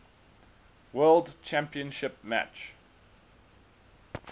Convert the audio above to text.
world championship match